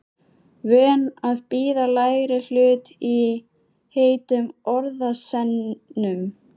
Vön að bíða lægri hlut í heitum orðasennum.